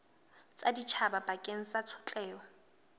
tsa setjhaba bakeng sa tshotleho